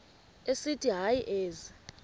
esithi hayi ezi